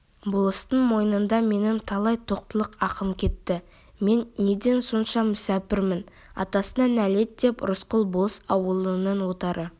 болыстың мойнында менің талай тоқтылық ақым кетті мен неден сонша мүсәпірмін атасына нәлет деп рысқұл болыс ауылының отары